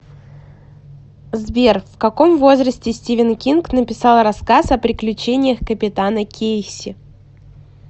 сбер в каком возрасте стивен кинг написал рассказ о приключениях капитана кейси